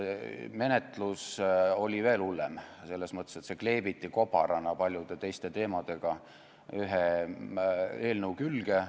Menetlus oli veel hullem, sest alkohol kleebiti kobarana paljude teiste teemadega koos ühe eelnõu külge.